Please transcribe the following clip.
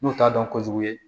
N'u t'a dɔn kojugu ye